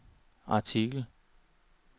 artikel